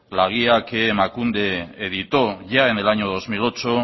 la guía que emakunde editó ya en el año dos mil ocho